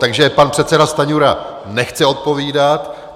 Takže pan předseda Stanjura nechce odpovídat.